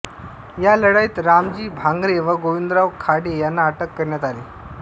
या लढाईत रामजी भांगरे व गोविंदराव खाडे यांना अटक करण्यात आली